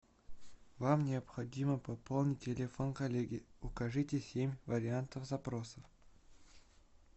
вам необходимо пополнить телефон коллеги укажите семь вариантов запросов